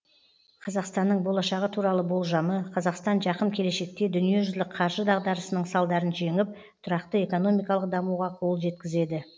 қазақстанның болашағы туралы болжамы қазақстан жақын келешекте дүниежүзілік қаржы дағдарысының салдарын жеңіп тұрақты экономикалық дамуға қол жеткізеді